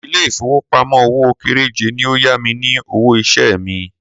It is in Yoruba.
Ilé ìfowópamọ́ òwò kéréje ni ó yá mi ní owó iṣẹ́ mi.